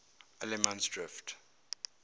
allemansdrift